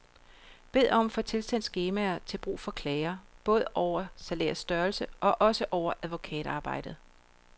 Bed om at få tilsendt skemaer til brug for klager, både over salærets størrelse og også over advokatarbejdet.